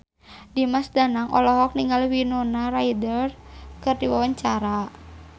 Dimas Danang olohok ningali Winona Ryder keur diwawancara